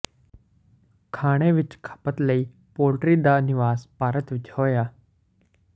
ਖਾਣੇ ਵਿੱਚ ਖਪਤ ਲਈ ਪੋਲਟਰੀ ਦਾ ਨਿਵਾਸ ਭਾਰਤ ਵਿੱਚ ਹੋਇਆ